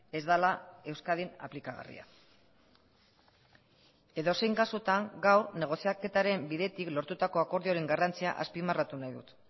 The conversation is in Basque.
ez dela euskadin aplikagarria edozein kasutan gaur negoziaketaren bidetik lortutako akordioaren garrantzia azpimarratu nahi dut